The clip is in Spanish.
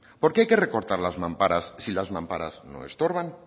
por qué hay que recortar las mamparas si las mamparas no estorban